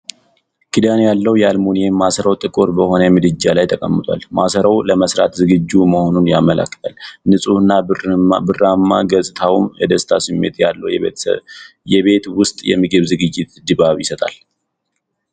ክዳን ያለው የአሉሚኒየም ማሰሮ ጥቁር በሆነ ምድጃ ላይ ተቀምጧል። ማሰሮው ለመሥራት ዝግጁ መሆኑን ያመለክታል፤ ንፁህ እና ብርማ ገጽታውም የደስታ ስሜት ያለው የቤት ውስጥ የምግብ ዝግጅት ድባብ ይሰጣል።